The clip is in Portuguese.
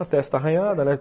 A testa arranhada, né?